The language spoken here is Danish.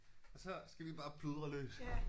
Og så skal vi bare pludre løs